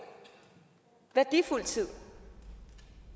værdifuld tid